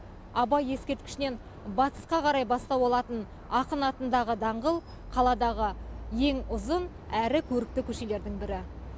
абай ескерткішінен батысқа қарай бастау алатын ақын атындағы даңғыл қаладағы ең ұзын әрі көрікті көшелердің бірі